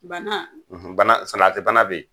Bana ? salati bana be yen.